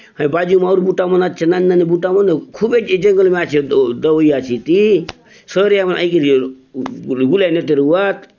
हय बाजु ने अउर बूटा मन आचे नानी-नानी बूटा मन खूबे ये जंगल ने आचे दवाई आचे इति ये शहरिया मन आयी करी गुलाय नेते रहुआत।